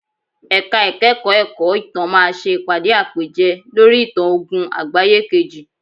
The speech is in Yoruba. Ẹ̀ka ìkẹ́kọ̀ọ́ ẹ̀kọ́ ìtàn máa ṣe ìpàdé àpèjẹ lórí ìtàn ogún àgbáyé kejì.